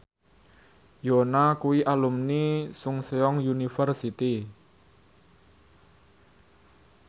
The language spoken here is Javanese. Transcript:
Yoona kuwi alumni Chungceong University